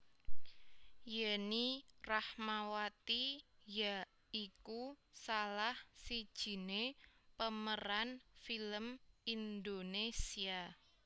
Yenny Rahmawati ya iku salah sijiné pemeran film Indonésia